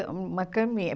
uma caminha.